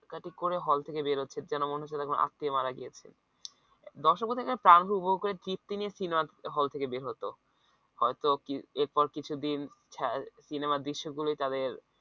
কাটি করে hall থেকে বেরোচ্ছে যেন মনে হচ্ছে কোনো আত্মীয় মারা গিয়েছে দর্শক প্রাণভরে উপভোগ করে তৃপ্তি নিয়ে সিনেমা হল থেকে বের হতো হয়তো এরপর কিছুদিন সিনেমার দৃশ্য গুলোই তাদের